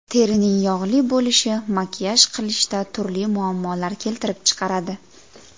Terining yog‘li bo‘lishi makiyaj qilishda turli muammolar keltirib chiqaradi.